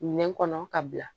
Minɛn kɔnɔ ka bila